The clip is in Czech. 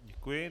Děkuji.